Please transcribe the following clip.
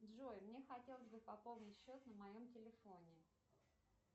джой мне хотелось бы пополнить счет на моем телефоне